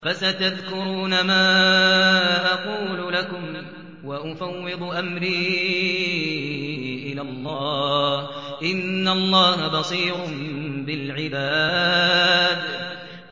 فَسَتَذْكُرُونَ مَا أَقُولُ لَكُمْ ۚ وَأُفَوِّضُ أَمْرِي إِلَى اللَّهِ ۚ إِنَّ اللَّهَ بَصِيرٌ بِالْعِبَادِ